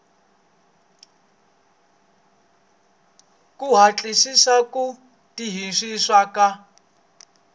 ku hatlisisa ku tirhisiwa ka